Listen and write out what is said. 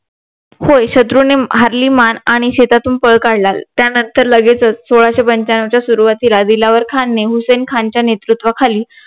होय शत्रूंनी हारली मान आणि शेतातून पळ काढला त्यानंतर लागेचचं सोळाशे पंच्यानवच्या सुरवातीला दिलावर खान ने हुसेन खानच्या नेतृत्वा खाली